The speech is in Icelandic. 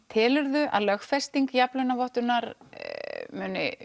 telur þú að lögfesting jafnlaunavottunar muni